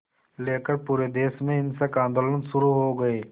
लेकर पूरे देश में हिंसक आंदोलन शुरू हो गए